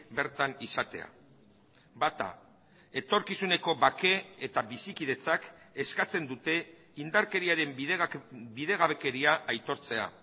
bertan izatea bata etorkizuneko bake eta bizikidetzak eskatzen dute indarkeriaren bidegabekeria aitortzea